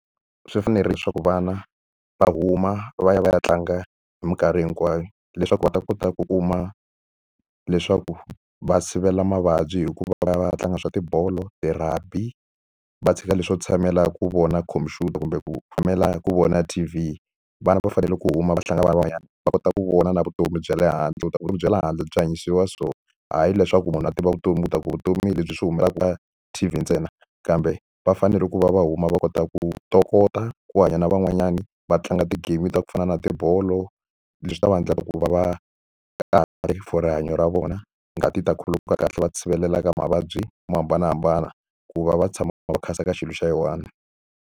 Swi fanerile leswaku vana va huma va ya va ya tlanga hi minkarhi hinkwayo, leswaku va ta kota ku kuma leswaku va sivela mavabyi hi ku va va ya va ya tlanga swa tibolo, ti-rugby. Va tshika leswo tshamela ku vona khompyuta kumbe ku tshamela ku vona T_V. Vana va fanele ku huma va hlangana na van'wanyana, va kota ku vona na vutomi bya le handle. Ku vutomi bya le handle byi hanyisiwa so, hayi leswaku munhu a tiva vutomi leswaku vutomi hi lebyi swi humaka ka T_V ntsena. Kambe va fanele ku va va huma va kota ku ntokota ku hanya na van'wanyani, va tlanga ti-game ta ku fana na tibolo. Leswi ta va endlaka ku va va for rihanyo ra vona. Ngati yi ta khuluka kahle va ti sirhelela ka mavabyi mo hambanahambana, ku va va tshama va ka xilo xa yi one.